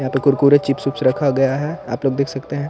यहाँ पे कुरकुरे चिप्स वीप्स रखा गया है आप लोग देख सकते है।